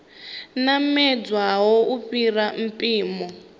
namedzaho u fhira mpimo tshi